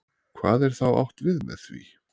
Hvað er þá átt við með því?